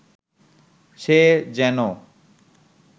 সে যেন